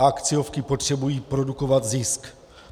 A akciovky potřebují produkovat zisk.